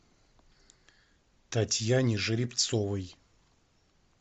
татьяне жеребцовой